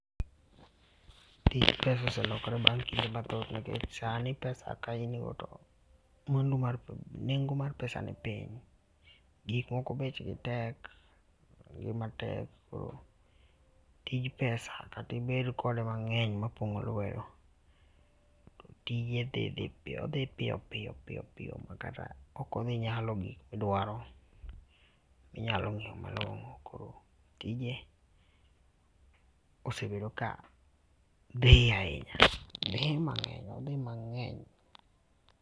Tij pesa oselokore bang kinde mathoth nikech sani pesa ka in go to mwandu, nengo mar pesa ni piny. Gik moko bech gi tek ngima tek koro tij pesa kata ibed kode mang'eny ma pong'o lwedo to tije dhi odhi piyopiyo piyopi ma kata ok odhi nyalo gik ma idwaro ma inyal ng'iewo malong'o koro tije osebedo kadhi ahinya, dhi mang'eny odhi mang'eny.